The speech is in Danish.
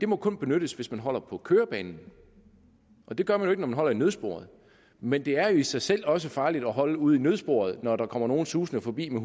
må kun benyttes hvis man holder på kørebanen og det gør man man holder i nødsporet men det er jo i sig selv også farligt at holde ude i nødsporet når der kommer nogen susende forbi med